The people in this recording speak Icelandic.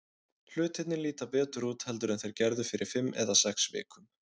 Hlutirnir líta betur út heldur en þeir gerðu fyrir fimm eða sex vikum.